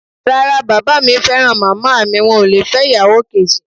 Rárá, bàbá mi fẹ́ràn màmá mi wọn ò lè fẹ́ ìyàwó kejì.